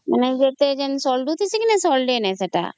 ସଲାଗୁଛି କିନ୍ତୁ ସାଲାଗେ ନାଇଁ ସେତ